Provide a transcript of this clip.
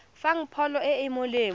fang pholo e e molemo